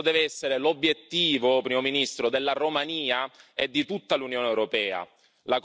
Questo deve essere l'obiettivo, Primo ministro, della Romania e di tutta l'Unione europea.